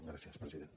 gràcies president